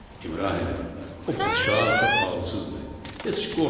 İbrahim, o padşah çox ağılsızdır, heç qorxma.